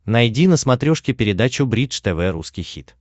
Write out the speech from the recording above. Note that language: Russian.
найди на смотрешке передачу бридж тв русский хит